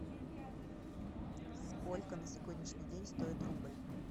сколько на сегодняшний день стоит рубль